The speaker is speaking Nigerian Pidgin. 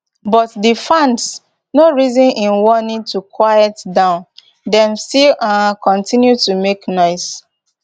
but di fans no reason im warning to quiet down dem still um continue to make noise